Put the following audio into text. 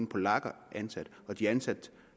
polakker ansat og de er ansat